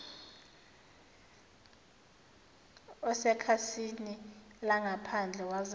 osekhasini langaphandle wazalwa